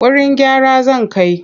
Wurin gyara zan kai.